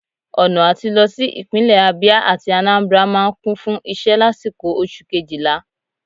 Ọna atí lọ si ipinlẹ Abia atí Anambra maa n Kun fun iṣẹ lasiko Oṣu kejila